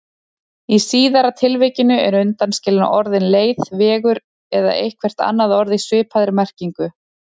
Í síðara tilvikinu eru undanskilin orðin leið, vegur eða eitthvert annað orð í svipaðri merkingu.